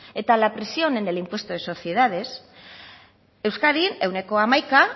y la presión en el impuesto de sociedades euskadin ehuneko hamaikaa